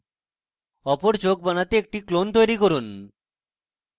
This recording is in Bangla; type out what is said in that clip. অপর চোখ বানাতে একটি clone তৈরী করুন